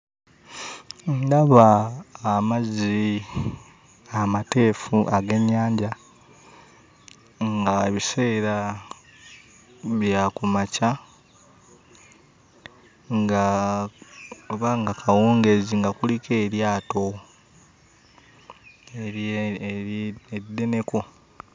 Ndaba amazzi amateefu ag'ennyanja, ng'ebiseera bya ku makya, nga oba nga kawungeezi nga kuliko eryato eddeneko.